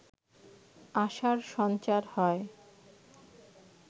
আশার সঞ্চার হয়